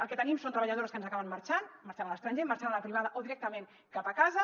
el que tenim són treballadores que ens acaben marxant marxant a l’estranger i marxant a la privada o directament cap a casa